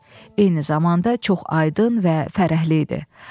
Eyni zamanda çox aydın və fərəhli idi.